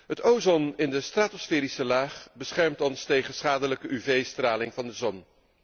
Het ozon in de stratosferische laag beschermt ons tegen schadelijke UV straling van de zon.